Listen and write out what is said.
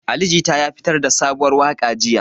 Ali Jita ya fitar da sabuwar waka jiya.